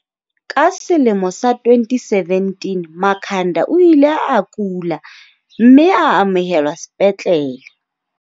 Ka selemo sa 2017, Makhanda o ile a kula, mme a amohelwa sepetlele.